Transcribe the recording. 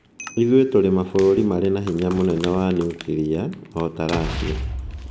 "Ithuĩ tũrĩ mabũrũri marĩ na hinya mũnene wa nyuklia, o ta Russia.